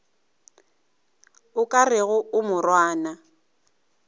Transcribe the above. o ka rego a morwana